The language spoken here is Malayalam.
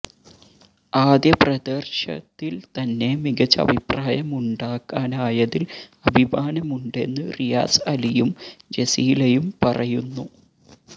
ആദ്യ പ്രദര്ശത്തില് തന്നെ മികച്ച അഭിപ്രായമുണ്ടാക്കാനായതില് അഭിമാനമുണ്ടെന്ന് റിയാസ് അലിയും ജസീലയും പറയുന്നു